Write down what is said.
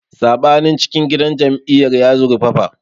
Saɓanin cikin gidan jam'iyyar ya zurfafa.